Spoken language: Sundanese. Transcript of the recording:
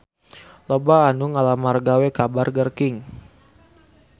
Loba anu ngalamar gawe ka Burger King